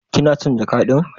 kina son jaka din?